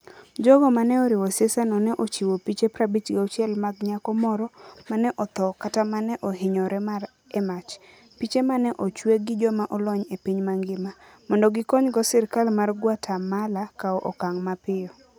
Jogo ma ne oriwo siasano ne ochiwo piche 56 mag nyako moro ma ne otho kata ma ne ohinyore e mach, piche ma ne ochwe gi joma olony e piny mangima, mondo gikonygo sirkal mar Guatemala kawo okang ' mapiyo.